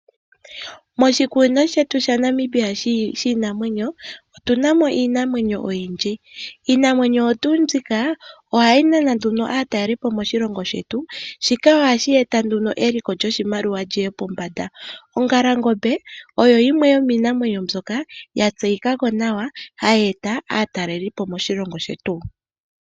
Moshikunino shetu shaNamibia shiinamwenyo otuna mo iinamwenyo oyindji. Iinamwenyo oyo tuu mbika ohayi nana nduno aatalelipo moshilongo shetu, shika ohashi eta nduno eliko lyoshimaliwa liye pombanda. Ongalangombe oyo yimwe yomiinamwenyo mbyoka yatseyika ko nawa hayeeta aatalelipo moshilongo shetu.